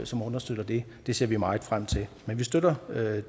som understøtter det det ser vi meget frem til men vi støtter